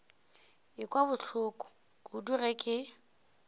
ekwa bohloko kudu ge ke